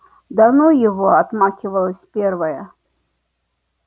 да ну его отмахивалась первая